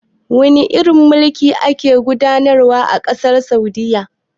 Wane irin mulki a ke gudanarwa a ƙasar Saudiyya?